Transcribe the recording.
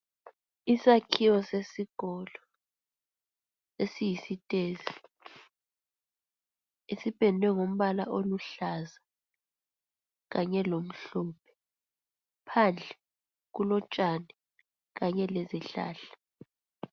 Isakhiwo sesikolo esiyisitezi, esipendwe ngombala oluhlaza kanye lomhlophe. Phandle kulotshani kanye lezihlahla.